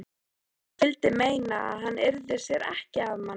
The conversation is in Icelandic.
Hún vildi meina að hann yrði sér ekki að manni.